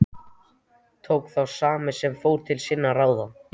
Tók þá sá sem fór til sinna ráða.